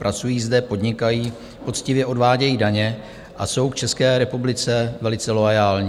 Pracují zde, podnikají, poctivě odvádějí daně a jsou k České republice velice loajální.